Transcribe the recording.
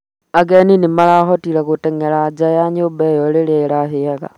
Ageni nĩmarahotire gũteng'era nja wa nyũmba ĩyo rĩrĩa ĩrahĩaga